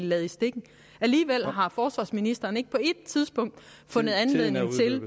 ladt i stikken alligevel har forsvarsministeren ikke på ét tidspunkt fundet anledning til